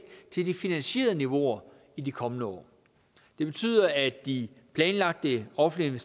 til de finansierede niveauer i de kommende år det betyder at de planlagte offentlige